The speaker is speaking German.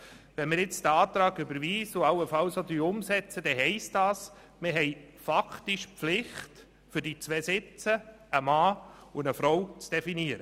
Wenn wir diesen Antrag nun überweisen und allenfalls auch umsetzen, dann heisst das, dass wir faktisch die Pflicht haben, für diese beiden Sitze einen Mann und eine Frau zu definieren.